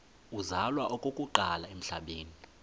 uzalwa okokuqala emhlabeni